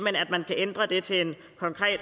det talen